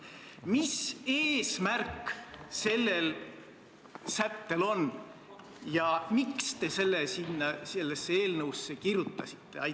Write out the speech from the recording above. Mis eesmärk sellel sättel on ja miks te selle eelnõusse kirjutasite?